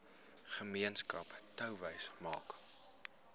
gemeenskap touwys maak